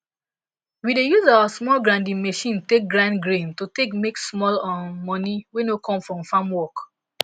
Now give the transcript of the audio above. we dey use our small grinding machine take grind grain to take make small um money wey no come from farm work